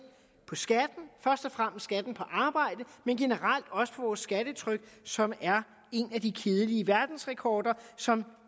på skatten på arbejde men generelt også på vores skattetryk som er en af de kedelige verdensrekorder som